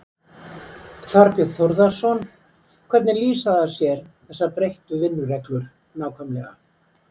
Þorbjörn Þórðarson: Hvernig lýsa þær sér, þessar breyttu vinnureglur nákvæmlega?